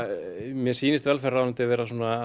mér sýnist velferðarráðuneytið vera að